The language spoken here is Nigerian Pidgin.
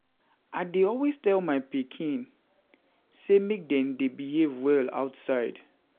I dey always tell my pikin dem sey dem sey make dey dey behave well outside.